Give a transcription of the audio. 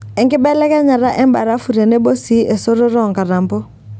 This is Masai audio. Enkibelekenyata embarafu tenebo sii esototo oonkatampo.